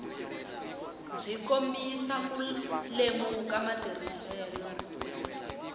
byi kombisa ku lemuka matirhiselo